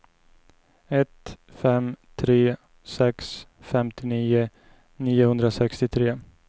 ett fem tre sex femtionio niohundrasextiotre